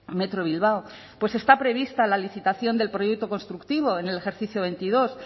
metro bilbao pues está prevista la licitación del proyecto constructivo en el ejercicio veintidós